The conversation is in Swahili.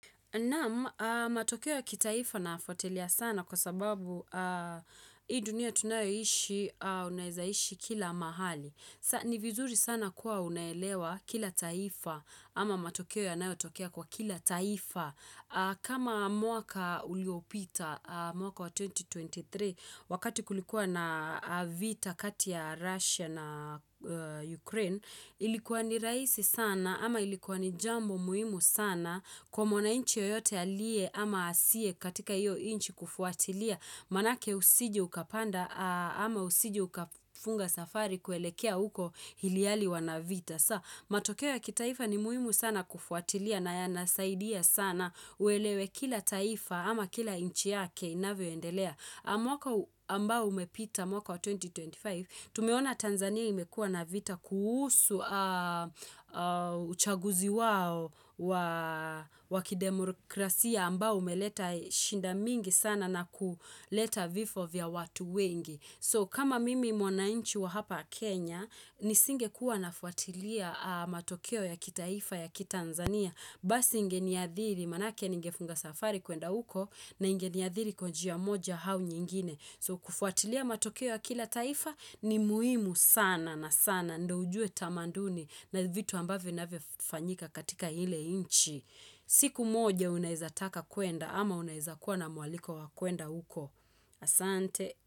Naam, matokeo ya kitaifa nayafuatilia sana kwa sababu hii dunia tunayoishi, unaeza ishi kila mahali. Ni vizuri sana kuwa unaelewa kila taifa ama matokeo yanayotokea kwa kila taifa. Kama mwaka uliopita mwaka wa 2023 wakati kulikuwa na vita kati ya Russia na Ukraine, ilikuwa ni raisi sana ama ilikuwa ni jambo muhimu sana kwa mwananchi yoyote alie ama asie katika iyo inchi kufuatilia manake usije ukapanda ama usije ukafunga safari kuelekea huko hiliali wana vita matokeo ya kitaifa ni muhimu sana kufuatilia na yanasaidia sana uelewe kila taifa ama kila inchi yake inavyoendelea mwaka ambao umepita mwaka wa 2025, tumeona Tanzania imekua na vita kuhusu uchaguzi wao wa wakidemokrasia ambao umeleta shinda mingi sana na kuleta vifo vya watu wengi. So kama mimi mwananchi wa hapa Kenya, nisingekuwa nafuatilia matokeo ya kitaifa ya kitanzania. Basi ingeniadhiri, manake ningefunga safari kuenda uko, na ingeniadhiri kwa njia moja hau nyingine. So kufuatilia matokeo ya kila taifa ni muhimu sana na sana. Ndo ujue tamanduni na vitu ambavo vinavyofanyika katika hile inchi. Siku moja unaeza taka kuenda ama unaeza kuwa na mwaliko wa kuenda uko. Asante.